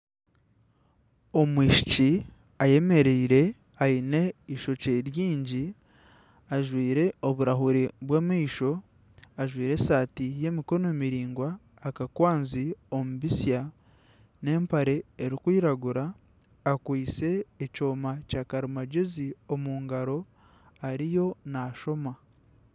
Omwishiki ayemereire aine eishokye ryingi ajwaire oburahuuri bw'amaisho ajwaire esaati y'emikono miraingwa, akakwanzi omu bisya n'empare erikwiragura akwaitse ekyoma kyakarimangyezi omu ngaro ariyo naashoma.